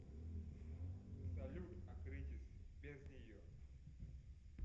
салют акритис без нее